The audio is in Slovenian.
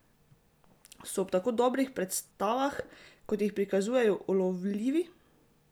So ob tako dobrih predstavah, kot jih prikazujejo, ulovljivi?